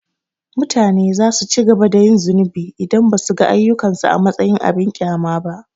Mutane za su ci gaba da yin zunubi idan ba su ga ayyukansu a matsayin abin ƙyama ba.